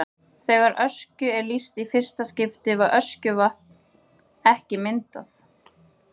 Þegar Öskju er lýst í fyrsta skipti var Öskjuvatn ekki myndað.